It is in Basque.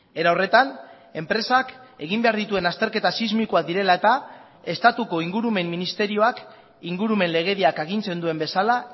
erahorretan enpresak egin behar dituen azterketa sismikoak direla eta estatuko ingurumen ministerioak ingurumen legediak agintzen duen bezala